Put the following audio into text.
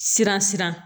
Siran siran